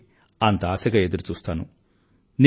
అందుకే అంత ఆశగా ఎదురుచూస్తాను